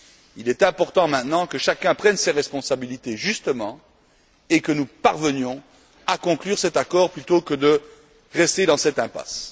Il est important maintenant que chacun prenne ses responsabilités et que nous parvenions à conclure cet accord plutôt que de rester dans cette impasse.